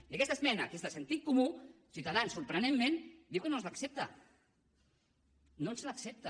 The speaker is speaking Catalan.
i aquesta esmena que és de sentit comú ciutadans sorprenentment diu que no ens l’accepta no ens l’accepta